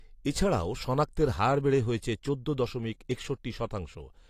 এছাড়াও শনাক্তের হার বেড়ে হয়েছে চোদ্দ দশমিক একষট্টি শতাংশ